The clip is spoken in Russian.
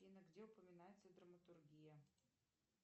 афина где упоминается драматургия